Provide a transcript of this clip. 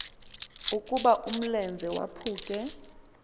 ukuba umlenze waphuke